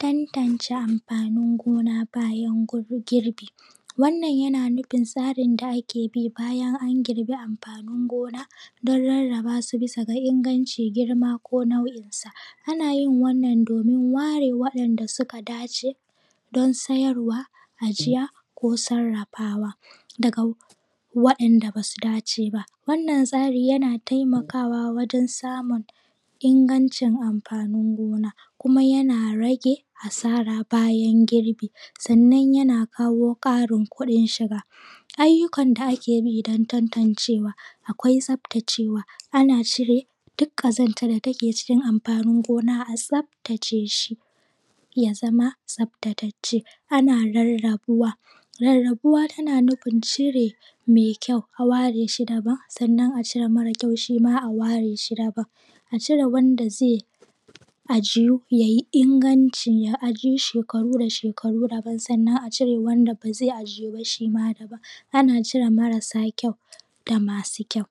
tantance amfanin gona bayan gur.. bayan girbi wannan yana nufin tsarin da ake bi bayan an girbi amfanin gona dan rarrabasu bisa ga ingancin girma ko nau'isa anayin wannan domin ware wayan da suka dace sayarwa ajiya ko sarrafawa daga wa yanda basu dace ba wannan tsari yana taimakawa wajen samun ingancin amfanin gona kuma yana rage asara bayan girbi sannan yana kawo Karin kudin shiga ayyukan da ake bi dan tantancewa akwai tsaftacewa ana cire duk ƙazantan da take cikin amfanin gona a tsaftace shi yazama tsaftacacce ana rarrabuwa rarrabuwa tana nufin cire mai kϳau a ware shi daban sannan a cire mare kyau shima a ware shi daban a cire wanda zai ajiyyu yayi inganci a ajiyu shekakaru daban sannan a cire wanda bazai ajiyu ba shima daban ana cire marasa kyau da masu kyau